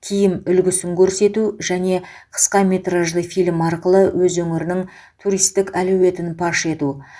киім үлгісін көрсету және қысқа метражды фильм арқылы өз өңірінің туристік әлеуетін паш ету